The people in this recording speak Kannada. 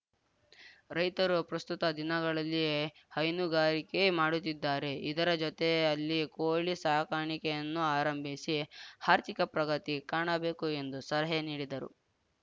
ರೈತರು ಪ್ರಸ್ತುತ ದಿನಗಳಲ್ಲಿ ಹೈನುಗಾರಿಕೆ ಮಾಡುತ್ತಿದ್ದಾರೆ ಇದರ ಜೊತೆಯಲ್ಲಿ ಕೋಳಿ ಸಾಕಾಣಿಕೆಯನ್ನೂ ಆರಂಭಿಸಿ ಆರ್ಥಿಕ ಪ್ರಗತಿ ಕಾಣಬೇಕು ಎಂದು ಸಲಹೆ ನೀಡಿದರು